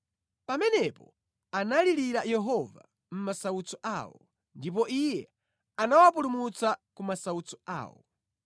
Pamenepo analirira Yehova mʼmasautso awo ndipo Iye anawapulumutsa ku masautso awo.